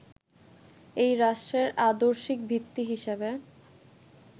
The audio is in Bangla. এই রাষ্ট্রের আদর্শিক ভিত্তি হিসেবে